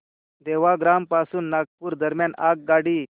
सेवाग्राम पासून नागपूर दरम्यान आगगाडी